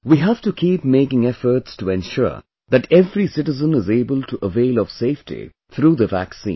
we have to keep making efforts to ensure that every citizen is able to avail of safety through the vaccine